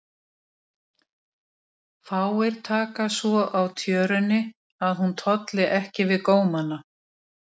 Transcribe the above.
Fáir taka svo á tjörunni að hún tolli ekki við gómana.